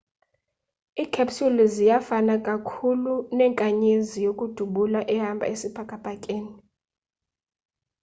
i-capsule iza kufana kakhulu nenkanyezi yokudubula ehamba isibhakabhakeni